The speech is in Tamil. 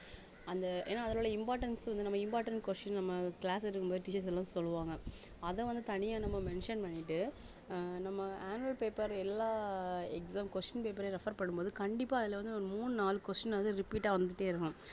அந்த ஏன்னா அதுல உள்ள importance வந்து நம்ம important question நம்ம class எடுக்கும்போது teachers எல்லாம் சொல்லுவாங்க அத வந்து தனியா நம்ம mention பண்ணிட்டு அஹ் நம்ம annual paper எல்லா exam question paper யும் refer பண்ணும் போது கண்டிப்பா அதுல வந்து ஒரு மூணு நாலு question வந்து repeat ஆ வந்துட்டே இருக்கும்